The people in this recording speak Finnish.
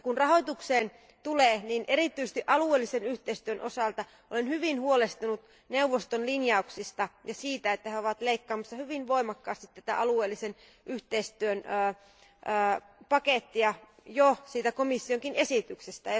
Mitä rahoitukseen tulee, erityisesti alueellisen yhteistyön osalta olen hyvin huolestunut neuvoston linjauksista ja siitä, että he ovat leikkaamassa hyvin voimakkaasti tätä alueellisen yhteistyön pakettia jo siitä komissionkin esityksestä.